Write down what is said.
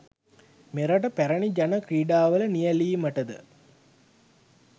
මෙරට පැරණි ජන ක්‍රීඩාවල නියැළීමට ද